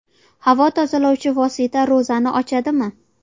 Havo tozalovchi vosita ro‘zani ochadimi?.